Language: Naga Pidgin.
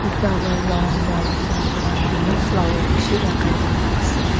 eta para round round kuri na banai ke na flowers bishi lagai ke na ase.